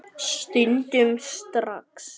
Stundum strax.